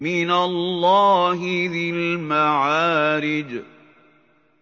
مِّنَ اللَّهِ ذِي الْمَعَارِجِ